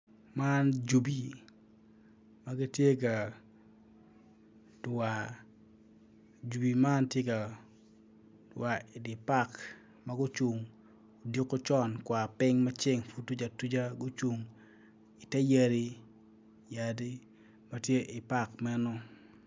Man jubi magitye ka dwar jubi man tye war idipark magucung odiko con kwar ping mapud ceng pud tuc atuca gucung iter yadi matye i pak meno.